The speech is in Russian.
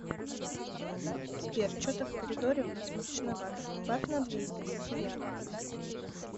сбер че то в коридоре у нас мрачновато прибавь на две единицы яркость